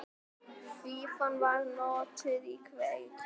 Fífan var notuð í kveiki.